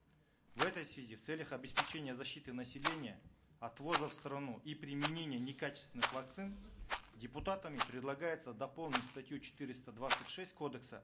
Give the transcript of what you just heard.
в этой связи в целях обеспечения защиты населения от ввоза в страну и применения некачественных вакцин депутатами предлагается дополнить статью четыреста двадцать шесть кодекса